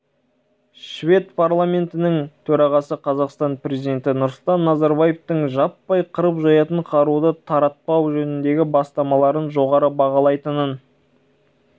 швед парламентінің төрағасы қазақстан президенті нұрсұлтан назарбаевтың жаппай қырып-жоятын қаруды таратпау жөніндегі бастамаларын жоғары бағалайтынын